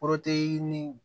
ni